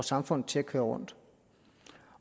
samfund til at køre rundt